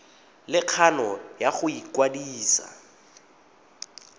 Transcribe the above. le kgano ya go ikwadisa